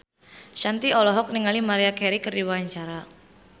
Shanti olohok ningali Maria Carey keur diwawancara